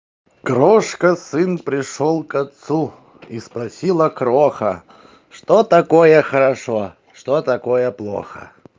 крошка сын пришёл к отцу и спросила кроха что такое хорошо что такое плохо